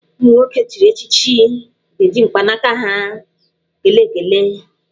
Ụmụ nwoke echiri echichi ga-eji mkpanaka ha ekele ekele.